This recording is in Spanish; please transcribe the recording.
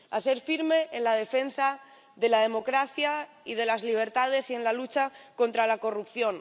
a ser firme en la defensa de la democracia y de las libertades y en la lucha contra la corrupción